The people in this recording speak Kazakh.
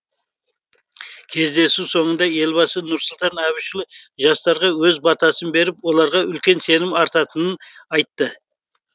кездесу соңында елбасы нұрсұлтан әбішұлы жастарға өз батасын беріп оларға үлкен сенім артатынын айтты